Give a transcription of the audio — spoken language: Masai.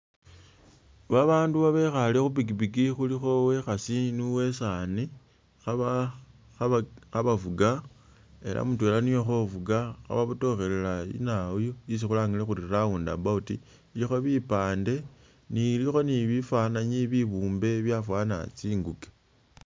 Babandu babekhale khu pikipiki khulikho uwekhasi ni uwesani khabavuga ela mutwela niyo khovuga khababotokhelela inaayu yesi khulangile khuri roundabout ilikho bipande ilikho ni bifanayi bibumbe byafaana tsinguke.